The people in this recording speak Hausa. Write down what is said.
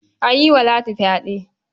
An yi wa Ladi fyaɗe.